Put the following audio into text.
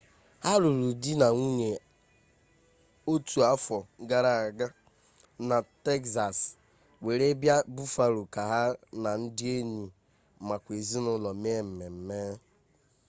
ha lụrụ di na nwunye otu afọ gara aga na tekzas were bịa buffalo ka ha na ndị enyi makwa ezinụlọ me mmemme